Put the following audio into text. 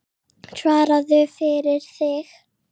Svaraðu fyrir þig!